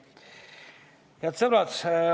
Head sõbrad!